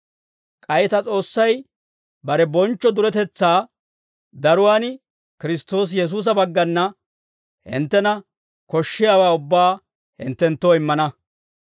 K'ay ta S'oossay bare bonchcho duretetsaa daruwaan Kiristtoosi Yesuusa baggana hinttena koshshiyaawaa ubbaa hinttenttoo immana.